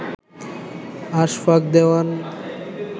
Ashfaq Dewan